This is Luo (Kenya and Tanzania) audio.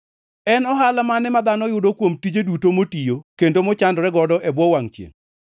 En ohala mane ma dhano yudo kuom tije duto motiyo kendo mochandore godo e bwo wangʼ chiengʼ?